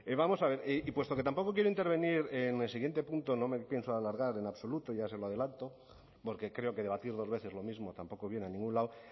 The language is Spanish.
vamos a ver y puesto que tampoco quiero intervenir en el siguiente punto no me pienso alargar en absoluto ya se lo adelanto porque creo que debatir dos veces lo mismo tampoco viene a ningún lado